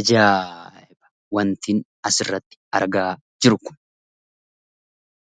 Ajaa'iba wantin asirratti argaa jiru kun!